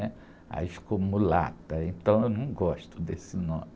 né? Aí ficou mulata, então eu não gosto desse nome.